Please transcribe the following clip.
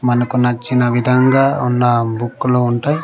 మనకు నచ్చిన విధంగా ఉన్న బుక్కులు ఉంటాయి.